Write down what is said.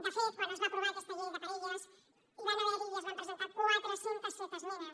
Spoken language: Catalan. de fet quan es va aprovar aquesta llei de parelles hi van haver i es van presentar quatre cents i set esmenes